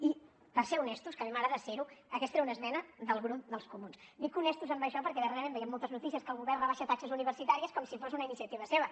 i per ser honestos que a mi m’agrada ser ho aquesta era una esmena del grup dels comuns dic honestos en això perquè darrerament veiem moltes notícies que el govern rebaixa taxes universitàries com si fos una iniciativa seva